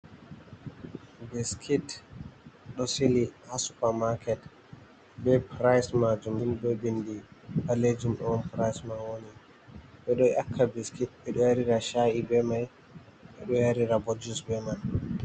Biskit ɗo sili haa super market, be price ma jum ni be bindi balejum ɗo on price mai woni, bedo ƴakka biskit, ɓe ɗo yarira sha’i be mai ɓe ɗo yarira bo juice be man.